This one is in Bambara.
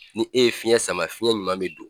Ni e ye fiyɛn sama fiyɛn ɲuman bɛ don.